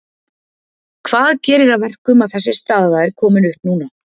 Hvað gerir að verkum að þessi staða er komin upp núna?